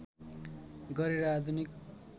गरे र आधुनिक